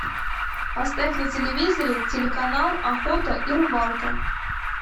поставь на телевизоре телеканал охота и рыбалка